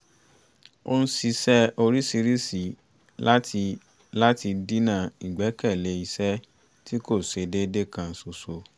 ó ń ṣiṣẹ́ oríṣiríṣi láti láti dínà ìgbẹ́kẹ̀lé iṣẹ́ tí kò ṣe déédé kan ṣoṣo